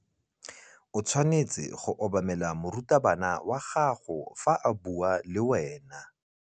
O tshwanetse go obamela morutabana wa gago fa a bua le wena.